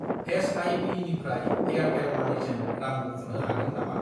SIP. निफ्राय Airtel मानिजों रां बख'नो हागोन नामा?